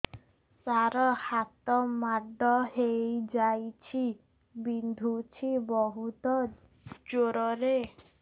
ସାର ହାତ ମାଡ଼ ହେଇଯାଇଛି ବିନ୍ଧୁଛି ବହୁତ ଜୋରରେ